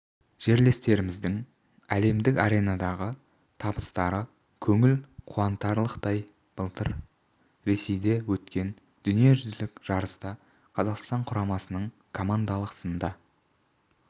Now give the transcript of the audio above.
жерлестеріміздің әлемдік аренадағы табыстары көңіл қуантарлықтай былтыр ресейде өткен дүниежүзілік жарыста қазақстан құрамасының командалық сында